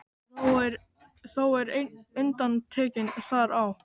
Þó er ein undantekning þar á.